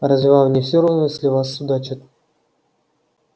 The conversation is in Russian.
разве вам не всё равно если о вас судачат